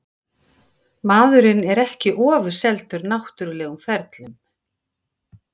Maðurinn er ekki ofurseldur náttúrlegum ferlum.